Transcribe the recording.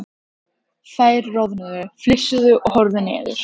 Þær roðnuðu, flissuðu og horfðu niður.